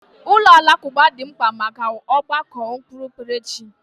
Ụlọ alakụba dị mkpa maka ọgbakọ okpukperechi.